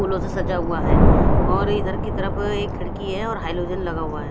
फूलो से सजा हुआ है और ये इधर की तरफ एक खीडकी है और हेलोजन भी लगा हुआ है।